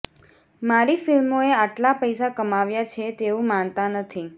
મારી ફિલ્મોએ આટલા પૈસા કમાવ્યા છે તેવું માનતા નથી